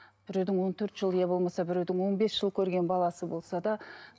біреудің он төрт жыл иә болмаса біреудің он бес жыл көрген баласы болса да